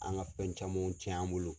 An ka fɛn camanw cɛn an bolo.